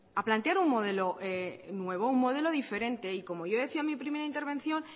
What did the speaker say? a plantear un modelo nuevo un modelo diferente y como ya decía en mi primera intervención